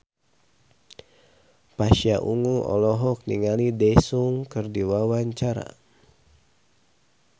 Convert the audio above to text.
Pasha Ungu olohok ningali Daesung keur diwawancara